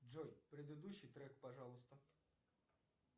джой предыдущий трек пожалуйста